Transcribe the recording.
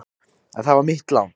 En það var mitt lán.